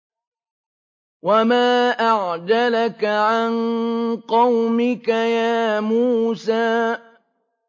۞ وَمَا أَعْجَلَكَ عَن قَوْمِكَ يَا مُوسَىٰ